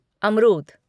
अमरूद